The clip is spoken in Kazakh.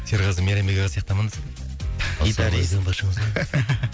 серғазы мейрамбек аға сияқты амандасады екен гитарист